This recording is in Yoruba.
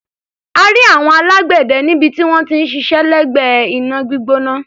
A rí àwọn alágbẹ̀dẹ níbi tí wọ́n ti ń ṣiṣẹ́ lẹ́gbẹ̀ẹ́ iná gbígbóná.